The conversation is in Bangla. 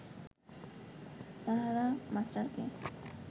তাহারা মাস্টারকে